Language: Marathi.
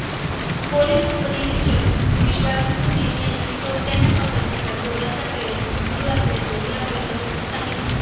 पोलिस उपनिरीक्षक विश्वास कुरणे यांनी चोरटय़ांना पकडण्याचा जोराचा प्रयत्न सुरू असल्याचे या बैठकीत सांगितले